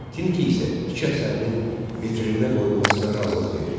Tinki isə iki əsərinin vitrininə qoyulmasına razılıq verdi.